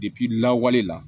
lawale la